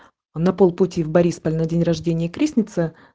на полпути в борисполе на день рождения крестнице